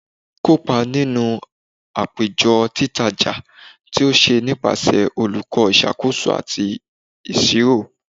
Kopa ninu apejọ Titaja ti o ṣe nipasẹ Oluko Iṣakoso ati Iṣiro